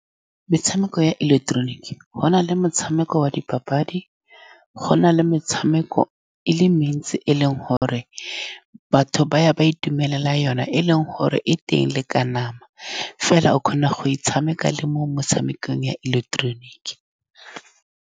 Metshameko ya ileketeroniki, go na le motshameko wa dipapadi, go na le metshameko e le mentsi e e leng gore batho ba ya ba itumelela yone, e e leng gore e teng le ka nama, fela o kgona go e tshamekela le mo motshamekong ya ileketeroniki.